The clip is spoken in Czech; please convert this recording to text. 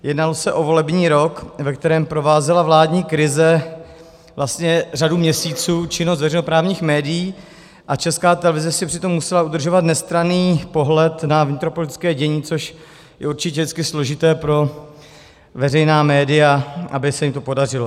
Jednalo se o volební rok, ve kterém provázela vládní krize vlastně řadu měsíců činnost veřejnoprávních médií a Česká televize si přitom musela udržovat nestranný pohled na vnitropolitické dění, což je určitě vždycky složité pro veřejná média, aby se jim to podařilo.